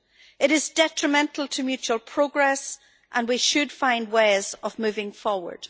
It is detrimental to mutual progress, and we should find ways of moving forward.